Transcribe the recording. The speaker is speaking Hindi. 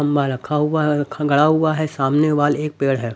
खंभा रखा हुआ है और गढ़ा हुआ है सामने वॉल एक पेड़ है।